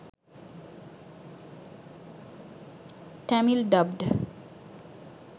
tamil dubbed